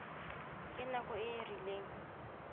ka nako e e rileng